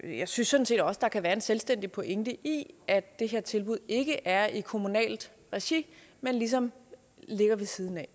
jeg synes sådan set også der kan være en selvstændig pointe i at det her tilbud ikke er i kommunalt regi men ligesom ligger ved siden af